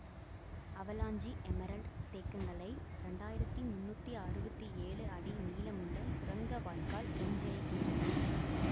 avalanche Emerald தேக்கங்களை இரண்டு ஆயிரத்தி முன்னூற்றி அறுபத்தி ஏழு அடி நீளமுள்ள சுரங்க வாய்க்கால் ஒன்றிணைக்கின்றன